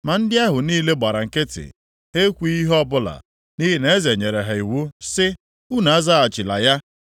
Ma ndị ahụ niile gbara nkịtị, ha ekwughị ihe ọbụla, nʼihi na eze nyere ha iwu sị, “Unu azaghachila ya.”